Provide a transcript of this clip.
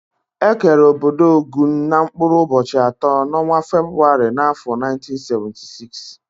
Ekere ọbọdọ Ogun n' mkpụrụ ubochi atọ n'ọnwa Febụwarị n'afọ 1976.